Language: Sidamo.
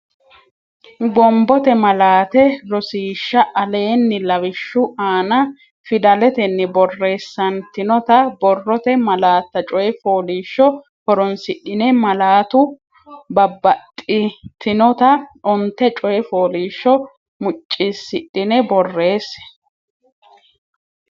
Gombote malaate Rosiishsha Aleenni lawishshu aana fidaletenni borreessantinota borrote malaatta coy fooliishsho horonsidhine malaatu babbaxxitinota onte coy fooliishsho muccisidhine borreesse.